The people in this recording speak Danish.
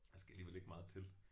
Der skal alligevel ikke meget til